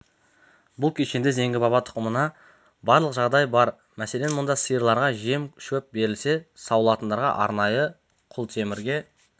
бұл кешенде зеңгі баба тұқымына барлық жағдай бар мәселен мұнда сиырларға жем-шөп берілсе сауылатындары арнайы құлтемірге